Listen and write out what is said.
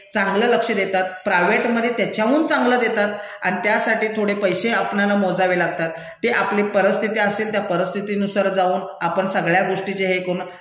चांगलं लक्ष देतात, प्रायवेटमधे त्याच्याहून चांगलं देतात अन् त्यासाठी थोडे पैसे आपणाला मोजावे लागतात, ते आपली परिस्तिथी असेल त्या परिस्तिथीनुसार जाऊन आपण सगळ्या गोष्टीचे हे करून